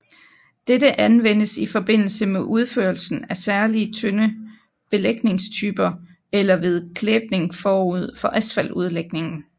Dette anvendes i forbindelse med udførelsen af særlige tynde belægningstyper eller ved klæbning forud for asfaltudlægningen